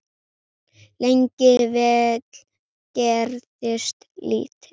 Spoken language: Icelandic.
Lengi vel gerðist lítið.